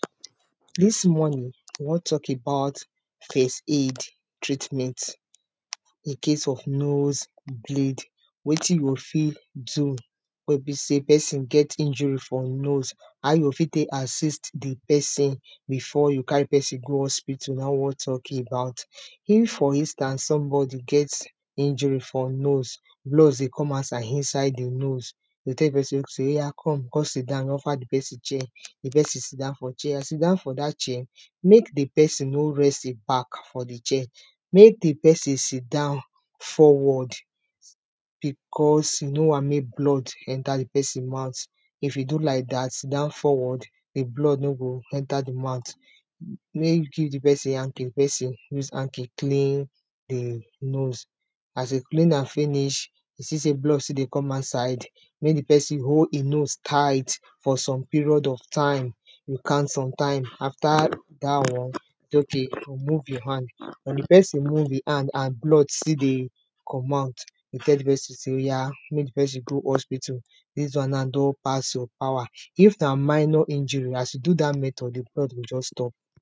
Dis morning we wan talk about first aid treatment incase of nose bleed, wetin you go fit do wey be sey pesin get injury for nose how you go fit take assist di pesin before you carry pesin go hospital naim we wan talk about. If for instance somebody get injury for nose blood dey come outside inside di nose you go tell di pesin sey oya come come sit down, you offer di pesin chair di pesin sit down for chair as e sit down for dat chair make di pesin no rest im back for the chair make di pesin sit down forward becos you no want make blood enter di pesin mouth if e do like dat sit down forward, di blood no go enter di mouth, make you give di pesin hanky, di pesin use hanky clean im nose as e clean am finish you see sey blood still dey come outside make di pesin hold im nose tight for some period of time you count some time, after dat one you say okay remove your hand wen di pesin remove im hand and blood still dey come out you tell di pesin sey oya make di pesin go hospital, dis one now don pass your power if na minor injury as you do dat method di blood go just stop.